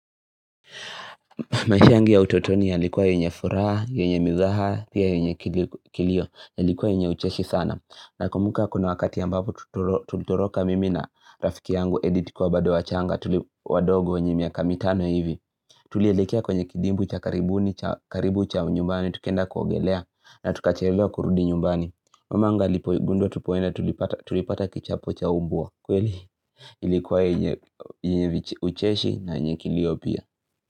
Maisha yangu ya utotoni yalikua yenye furaha yenye mizaha pia yenye kilio. Yalikuwa yenye ucheshi sana nakumbuka kuna wakati ambapo tulitoroka mimi na rafiki yangu Edi tukiwa bado wachanga wadogo wenye miaka mitano hivi Tulielekea kwenye kidimbwi cha karibu cha nyumbani tukaenda kuogelea na tukachelewa kurudi nyumbani, mamangu alipogundua tulipata kichapo cha mbwa kweli ilikuwa yenye ucheshi na yenye kilio pia.